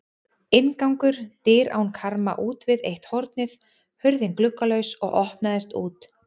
Inngangur: dyr án karma útvið eitt hornið, hurðin gluggalaus og opnaðist út.